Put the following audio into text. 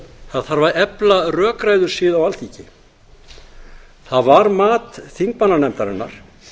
það þarf að efla rökræðusiði á alþingi það var mat þingmannanefndarinnar